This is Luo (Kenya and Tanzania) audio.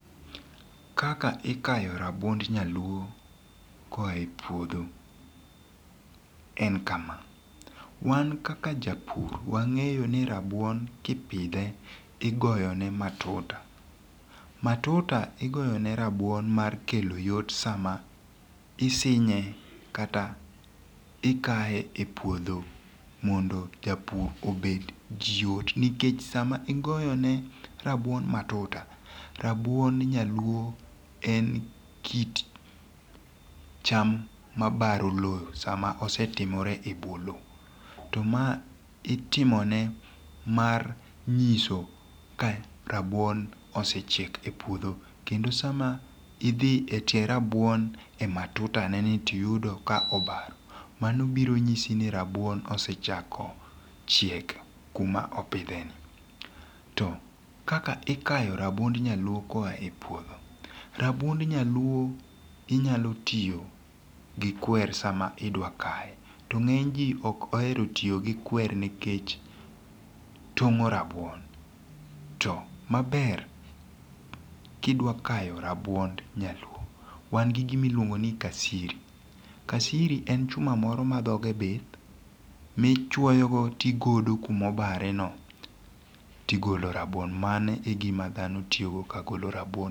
Kaka ikayo rabuond nyaluo koae puodho en kama, wan kaka japur wang'eyo ni rabuon kipidhe igoyone matuta, matuta ogoyone rabuon mar kelo yot sama isinje kata ikaye e puodho mondo japur obed gi yot nikech sama igoyone rabuon matuta rabuon nyaluo en kit cham ma baro lowo sama osetomore e bwo lowo to maa itimone mar nyiso ka rabuon osechiek e puodho kendo sama idhi e tie rabuon e matutane ni to iyudo ka obaro manobiro nyisi ni rabuon osechiek kuma opitheni to kaka ikayo rabuond nyaluo ka oyae puodho, rabuond nyaluo inyalo tiyo gi kweru sama idwa kaye to nge'ny ji okoero tiyo gi kweru nikech twomo rabuon to maber ka idwa kayo rabuond nyaluo wan gi gima iluongo ni kasiri, kasiri en chuma moro ma dhoge bith michuoyogo to igodo go kuma obareno tigolo rabuon mano e gima thano tiyogo ka gigolo rabuon.